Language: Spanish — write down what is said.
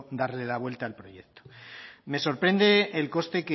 darle la vuelta al proyecto me sorprende el coste